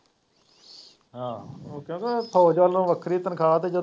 ਹਾਂ ਉਹ ਕਹਿੰਦਾ ਫੌਜ਼ ਵੱਲੋ ਵੱਖਰੀ ਤਨਖਾਹ ਅਤੇ ਜਦ